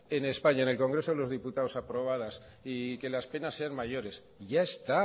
en españa en el congreso de los diputados aprobadas y que las penas sean mayores ya está